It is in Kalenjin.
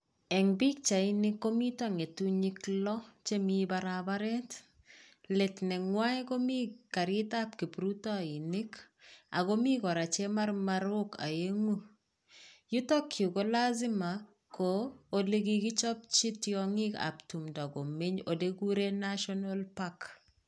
eng bichaini komiita ngeyutik loo chemii barabaret let neywai komii karittab kiprutainik agomi kora chemarmarok aengu, yutak yuu ko lazima koo olee kikichapchi tyongik ab tumdoo komeny olee kiguree national park